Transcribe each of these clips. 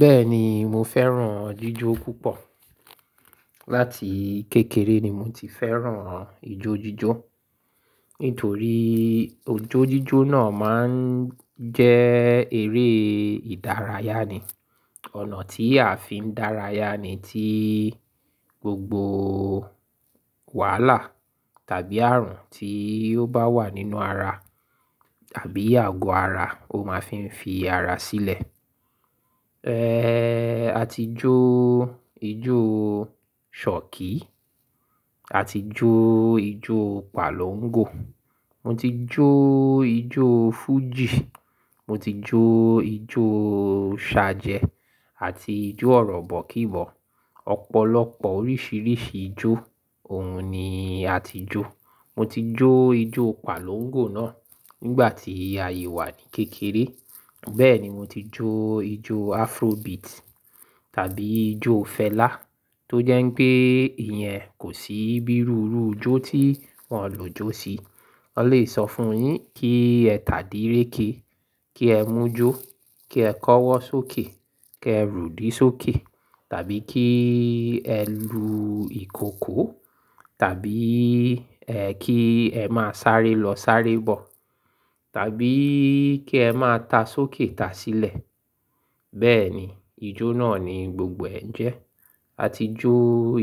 Bẹ́ẹ̀ni, mo fẹ́ràn jíjó púpọ̀. Láti kékeré ni mo ti fẹ́ràn ijójíjó nítorí ijójíjó náà máa ń jẹ́ eré ìdárayá ni. Ọ̀nà tí a fi ń dárayá ni tí gbogbo wàhálà tàbí àrùn tí ó bá wà nínú ara tàbí àgọ́ ara ó máa fi ń fi ara sílẹ̀. A ti jó ijó ṣhọ̀kí, a ti jó ijó pàlọ́ńgò, mo ti jó ijó fújì, mo ti jó ijó ṣajẹ́ àti ijó ọ̀rọ̀bọ̀kíbọ̀. Ọ̀pọ̀lọpọ̀ oríṣìíríṣìí ijó òun ni a ti jó. Mo ti jó ijó pàlọ́ńgò náà nígbà tí asi wà ní kékeré. Bẹ́ẹ̀ ni mo ti jó ijó Afrobeat tàbí ijó Fela tó jẹ́ pé ìyẹn kò sí bí rùrú ijó tí wọ́n le jó sí. Wọ́n lè sọ fún yín kí ẹ tàdíréke, kí ẹ mújó, kí ẹ kọ́wọ́ sókè, kí ẹ rùdí sókè tàbí kí ẹ lu ìkòkò tàbí ẹ kí ẹ máa sáré lọ sáré bọ̀ tàbí kí ẹ máa ta sókè ta sílẹ̀. Bẹ́ẹ̀ ni ijó náà ni gbogbo ẹ̀ jẹ́. A ti jó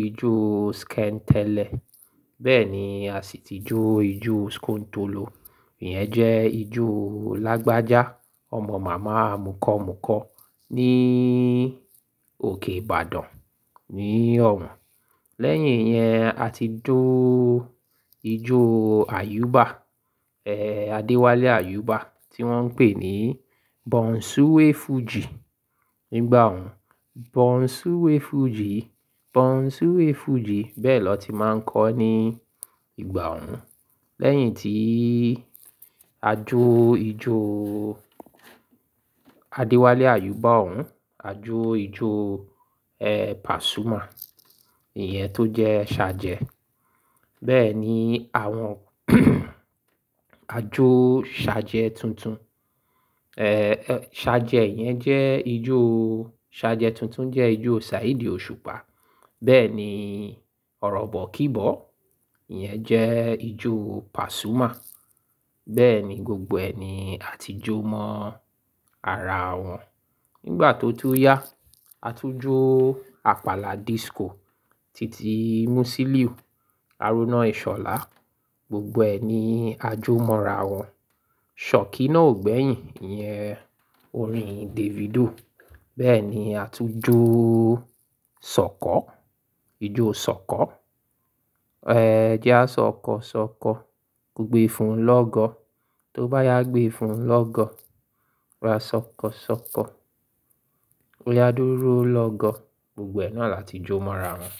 ijó Skentẹlẹ, bẹ́ẹ̀ ni a sì ti jó ijó Skuntolo. Ìyẹn jẹ́ ijó lágbájá ọmọ màmá mukọ́mukọ́ ní òkè Ìbàdàn ni ọ̀hún. Lẹ́yìn yẹn, a ti jó ijó Ayuba, Adéwálé Ayuba tí wọ́n ń pè ní Bonsuwe fújì nígbà ọ̀hún. Bonsuwe fújì, Bonsuwe fújì bẹ́ẹ̀ lọ ti máa ń kọ́ ní ìgbà ọ̀hún. Lẹ́yìn tí a jó ijó Adéwálé Ayuba ọ̀hún, a jó ijó Pasuma, ìyẹn tó jẹ́ ṣajẹ́. Bẹ́ẹ̀ ni àwọn àjó ṣajẹ́ tuntun. Ṣajẹ́ yẹn jẹ́ ijó Ṣajẹ́ tuntun jẹ́ ijó Saheed Òṣùpá. Bẹ́ẹ̀ ni ọ̀rọ̀bọ̀kíbọ̀, ìyẹn jẹ́ ijó Pasuma. Bẹ́ẹ̀ ni gbogbo ẹ̀ ni a ti jó mọ́ ara wọn. Nígbà tó tun yá, a tún jó Àpàlà disco títí í músíliú, haruná ìṣhọ̀lá. Gbogbo ẹni a jó mọ́ra wọn. Ṣọ̀kí náà ò gbẹ́yìn, ìyẹn orin Davido. Bẹ́ẹ̀ ni a tún jó ṣọkọ, ijó ṣọkọ. "Ẹ jẹ́ á ṣọkọ ṣọkọ, kogbe fún lọ́gọ́. Tó bá yá gbé e fún lọ́gọ́, a ṣọkọ ṣọkọ, ó yá dúró lọ́gọ́." Gbogbo ẹ̀ náà la ti jó mọ́ra wọn.